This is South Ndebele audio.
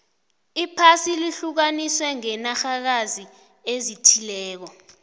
iphasi lihlukaniswe ngenarhakazi ezithileko